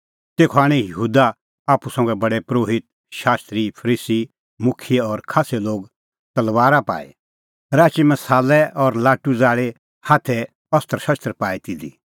तेखअ आणै यहूदा आप्पू संघा प्रधान परोहित शास्त्री फरीसी मुखियै और खास्सै लोग तलबारा पाई राची मसालै और लाटू ज़ाल़ी हाथै अस्त्रशस्त्र पाई तिधी